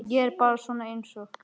Ég er bara svona einsog.